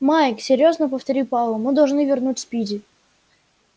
майк серьёзно повторил пауэлл мы должны вернуть спиди